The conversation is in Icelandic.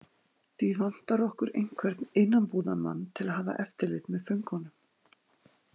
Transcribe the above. Því vantar okkur einhvern innanbúðarmann til að hafa eftirlit með föngunum.